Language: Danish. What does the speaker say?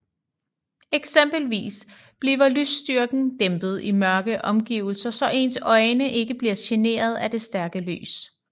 Eksempelvis bliver lysstyrken dæmpet i mørke omgivelser så ens øjne ikke bliver generet af det stærke lys